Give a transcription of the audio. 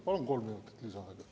Palun kolm minutit lisaaega.